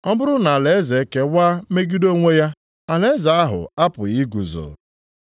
Ọ bụrụ na alaeze ekewa megide onwe ya alaeze ahụ apụghị iguzo.